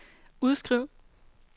udskriv